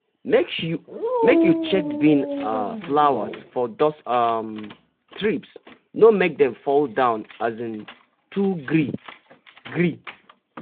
make you check bean um flowers for those um thrips no make dem fall down um too gree-gree.